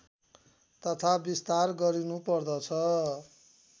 तथा विस्तार गरिनुपर्दछ